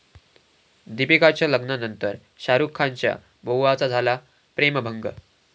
दीपिकाच्या लग्नानंतर शाहरुख खानच्या 'बऊआ'चा झाला प्रेमभंग